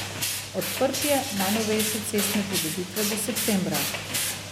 Odprtje najnovejše cestne pridobitve bo septembra.